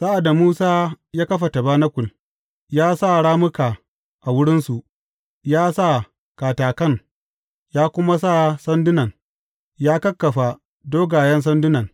Sa’ad da Musa ya kafa tabanakul, ya sa rammuka a wurinsu, ya sa katakan, ya kuma sa sandunan, ya kakkafa dogayen sandunan.